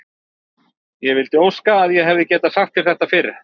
Ég vildi óska að ég hefði getað sagt þér þetta fyrr.